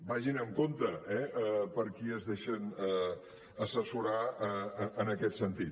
vagin en compte eh per qui es deixen assessorar en aquest sentit